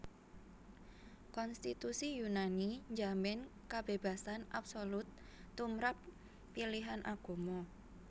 Konstitusi Yunani njamin kabébasan absolut tumrap pilihan agama